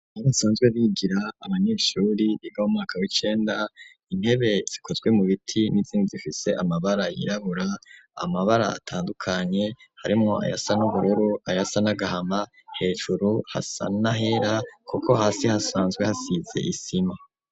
Aho basanzwe bigira abanyeshuri biga mu mwaka w'icenda. Intebe zikozwe mu biti n'inzindi zifise amabara yirabura amabara atandukanye harimo ayasa n'ubururu ayasa nagahama hejuru hasanahera kuko hasi hasanzwe hasize isima.